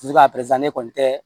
ne kɔni tɛ